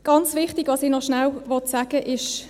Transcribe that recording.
Was ich noch schnell sagen will: